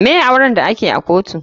Me auren da ake to a kotu?